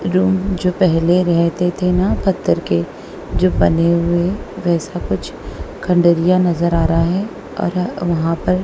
room जो पहले रहते थे ना पत्थर के जो बने हुए वैसा कुछ खंडरिया नजर आ रहा है और वहां पर--